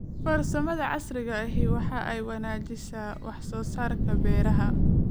Farsamada casriga ahi waxa ay wanaajisaa wax soo saarka beeraha.